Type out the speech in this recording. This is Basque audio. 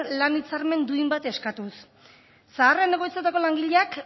lan hitzarmen duin bat eskatuz zaharren egoitzetako langileak